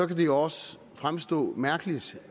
kan det jo også fremstå mærkeligt